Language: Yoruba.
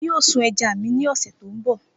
Emi yoo sun ẹja mi ni ọsẹ to nbọ